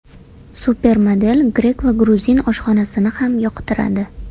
Supermodel grek va gruzin oshxonasini ham yoqtiradi.